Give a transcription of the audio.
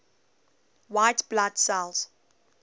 white blood cells